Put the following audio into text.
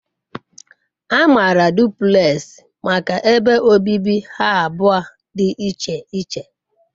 A maara duplekxi maka ebe obibi ha abụọ dị iche iche.